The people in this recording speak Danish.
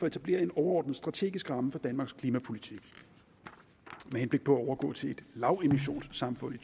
etablere en overordnet strategisk ramme for danmarks klimapolitik med henblik på at overgå til et lavemissionssamfund i